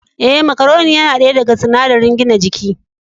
Ee, macaronin yana daya daga sunadari gina jiki.